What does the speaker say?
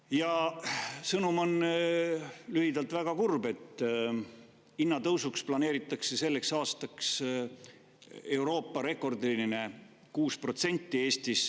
Ja sõnum on lühidalt väga kurb: hinnatõusuks planeeritakse Eestis selleks aastaks Euroopa rekordiline 6%.